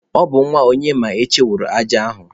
Ọ bụ nwa Onyemaechi wụrụ aja a ugbua.